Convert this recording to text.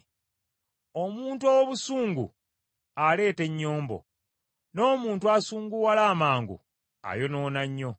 Omuntu ow’obusungu aleeta ennyombo, n’omuntu asunguwala amangu ayonoona nnyo.